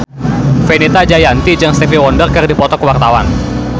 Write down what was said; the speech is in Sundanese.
Fenita Jayanti jeung Stevie Wonder keur dipoto ku wartawan